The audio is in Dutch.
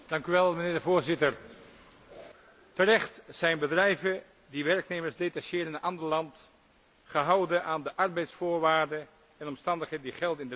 Terecht zijn bedrijven die werknemers detacheren in een ander land, gehouden aan de arbeidsvoorwaarden en omstandigheden die gelden in de lidstaat waar de dienst verricht wordt.